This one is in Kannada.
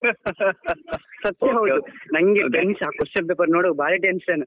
ಸತ್ಯ ಹೌದು ನಂಗೆ question paper ನೋಡುವಾಗ ಬಾರಿ tension .